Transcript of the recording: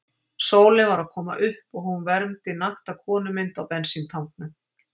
Sólin var að koma upp og hún vermdi nakta konumynd á bensíntanknum.